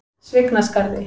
Svignaskarði